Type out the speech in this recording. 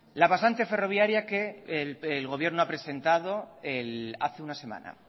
la pasante ferroviaria que el gobierno ha presentado hace una semana